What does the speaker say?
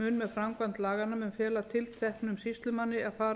mun með framkvæmd laganna mun fela tilteknum sýslumanni að